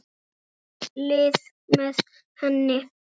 Gekk í lið með henni.